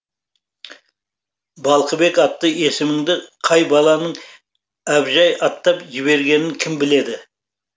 балқыбек атты есіміңді қай баланың әбжай атап жібергенін кім біледі